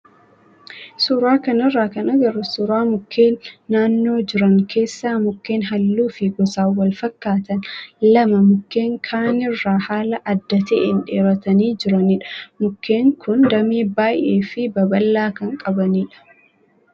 Suuraa kanarraa kan agarru suuraa mukkeen naannoo jiran keessaa mukkeen halluu fi gosaan wal fakkaatan lama mukkeen kaanirraa haala adda ta'een dheeratanii jiranidha. Mukkeen kun damee baay'ee fi babal'aa kan qabanidha.